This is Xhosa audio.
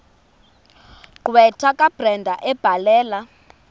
gqwetha kabrenda ebhalela